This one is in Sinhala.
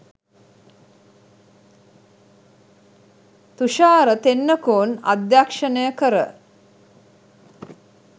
තුෂාර තෙන්නකෝන් අධ්‍යක්ෂණය කර